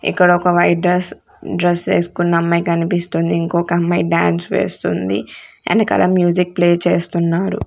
ఇక్కడ ఒక white dress dress ఏసుకున్న అమ్మాయి కనిపిస్తుంది ఇంకొక అమ్మాయి డాన్స్ వేస్తుంది ఎనకల మ్యూజిక్ ప్లే చేస్తున్నారు.